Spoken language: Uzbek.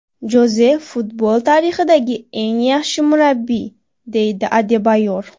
Joze futbol tarixidagi eng yaxshi murabbiy”, deydi Adebayor.